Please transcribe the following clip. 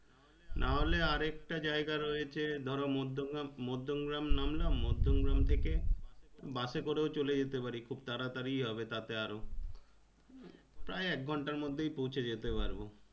নাহলে আর একটা জায়গা রয়েছে ধরো মধ্যমগ্রাম মধ্যমগ্রাম নামলাম মধ্যমগ্রাম থেকে Bus এ করেও চলে যেতে পারি খুব তাড়াতাড়ি হবে তাতে আরও প্রায় এক ঘন্টার মধ্যেই পৌঁছে যেতে পারবো।